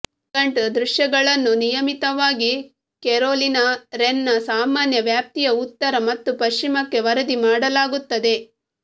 vagrant ದೃಶ್ಯಗಳನ್ನು ನಿಯಮಿತವಾಗಿ Carolina wren ನ ಸಾಮಾನ್ಯ ವ್ಯಾಪ್ತಿಯ ಉತ್ತರ ಮತ್ತು ಪಶ್ಚಿಮಕ್ಕೆ ವರದಿ ಮಾಡಲಾಗುತ್ತದೆ